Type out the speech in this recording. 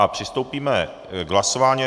A přistoupíme k hlasování.